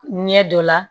Ɲɛ dɔ la